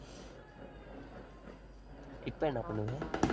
இப்ப என்ன பண்ணுவ?